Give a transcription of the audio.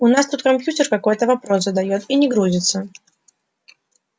у нас тут компьютер какой-то вопрос задаёт и не грузится